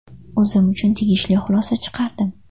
O‘zim uchun tegishli xulosa chiqardim.